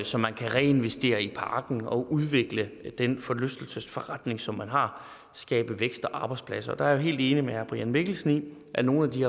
som man kan reinvestere i parken og udvikle den forlystelsesforretning som man har og skabe vækst og arbejdspladser der er jeg helt enig med herre brian mikkelsen i at nogle af de